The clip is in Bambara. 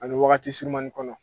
Ani wagati surunmani kɔnɔ